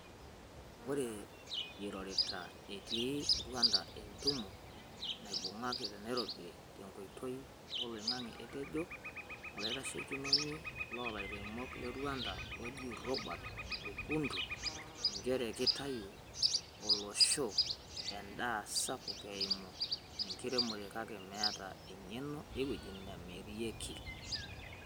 Oree erorito etii Rwanda tentumo naibungaki te Nairobi tenkoitoi e oloingange, etejo olaitashekinoni loolairemok le Rwanda ojiii Robert Rukundu, njeree kitayu oloshoo endaa sapuk eimu enkiremore kake meeta engeno eweji namiriaki.